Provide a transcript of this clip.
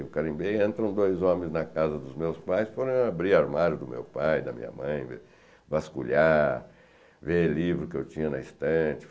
Eu carimbei, entram dois homens na casa dos meus pais, foram abrir o armário do meu pai e da minha mãe, vasculhar, ver livro que eu tinha na estante.